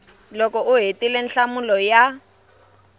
loko u hetile nhlamulo ya